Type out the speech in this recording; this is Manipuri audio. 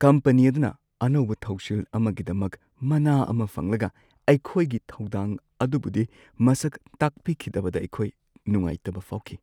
ꯀꯝꯄꯅꯤ ꯑꯗꯨꯅ ꯑꯅꯧꯕ ꯊꯧꯁꯤꯜ ꯑꯃꯒꯤꯗꯃꯛ ꯃꯅꯥ ꯑꯃ ꯐꯪꯂꯒ ꯑꯩꯈꯣꯏꯒꯤ ꯊꯧꯗꯥꯡ ꯑꯗꯨꯕꯨꯗꯤ ꯃꯁꯛ ꯇꯥꯛꯄꯤꯈꯤꯗꯕꯗ ꯑꯩꯈꯣꯏ ꯅꯨꯡꯉꯥꯏꯇꯕ ꯐꯥꯎꯈꯤ꯫